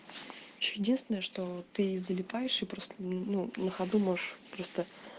единственное что ты залипаешь и просто ну на ходу можешь просто